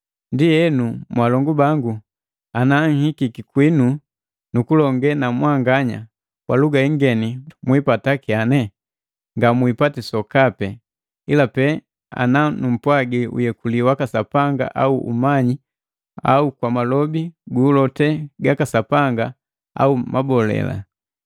Ndienu mwalongu bangu, ana nhikiki kwinu nukulonge na mwanganya kwa luga ingeni mwipata kyane? Ngamwipati sokapi, ila pe ana numpwaji uyekuli waka Sapanga au umanyi au kwa malobi guulote gaka Sapanga au mabole.